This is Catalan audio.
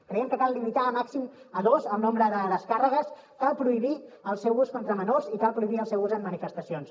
creiem que cal limitar a màxim dos el nombre de descàrregues cal prohibir el seu ús contra menors i cal prohibir el seu ús en manifestacions